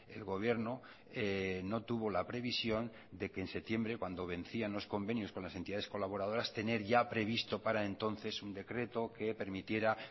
el gobierno no tuvo la previsión de que en septiembre cuando vencían los convenios con las entidades colaboradoras tener ya previsto para entonces un decreto que permitiera